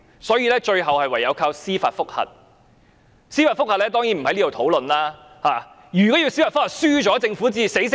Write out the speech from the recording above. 所以，最後唯有靠司法覆核，我當然不會在這裏討論司法覆核。